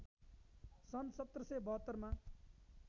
सन् १७७२ मा